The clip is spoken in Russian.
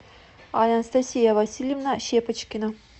анастасия васильевна щепочкина